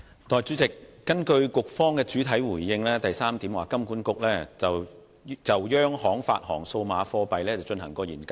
代理主席，根據局方的主體答覆第三部分所述："金管局有就央行發行數碼貨幣進行研究......